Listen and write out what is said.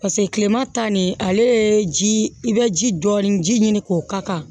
paseke kilema ta nin ale ye ji i bɛ ji dɔɔnin ji ɲini k'o ka kan